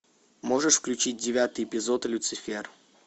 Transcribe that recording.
можешь включить девятый эпизод люцифер